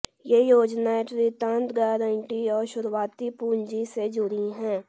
ये योजनाएं ऋण गारंटी और शुरुआती पूंजी से जुड़ी हैं